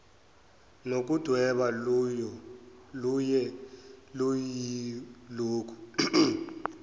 nokudweba luye luyilokhu